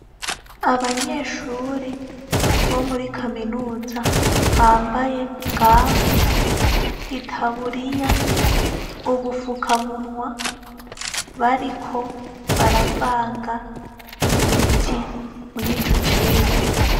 Abanyeshure bo muri kaminuza , bambaye gamu, itaburiya ubufukamunwa , bariko baravanga imiti murico cigwa.